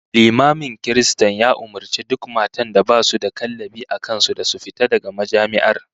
Limamin kiristan ya umurci duk matan da basu da kallabi a kan su da su fita daga majami'ar